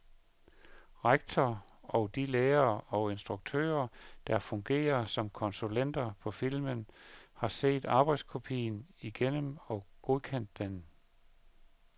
Rektor og de lærere og instruktører, der fungerer som konsulenter på filmen, har set arbejdskopien igennem og godkendt den.